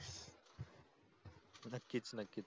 नक्कीच नक्कीच